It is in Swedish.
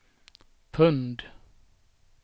pund